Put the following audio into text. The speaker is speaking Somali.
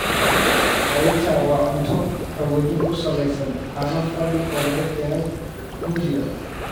Raita waa cunto qaboojin ku salaysan caano fadhi oo laga keenay Hindiya.